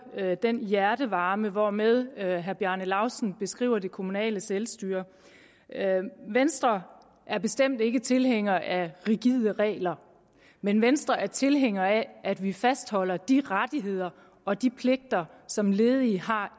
høre den hjertevarme hvormed herre bjarne laustsen beskriver det kommunale selvstyre venstre er bestemt ikke tilhænger af rigide regler men venstre er tilhænger af at vi fastholder de rettigheder og de pligter som ledige har